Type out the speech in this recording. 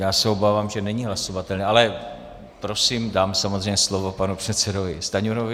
Já se obávám, že není hlasovatelný, ale prosím, dám samozřejmě slovo panu předsedovi Stanjurovi.